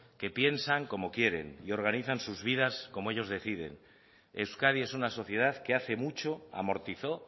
que piensan como quieren y organizan sus vidas como ellos deciden euskadi es una sociedad que hace mucho amortizó